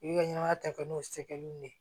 I bi ka ɲɛnɛmaya ta kɛ n'o sɛgɛnw de ye